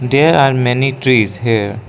there are many trees here.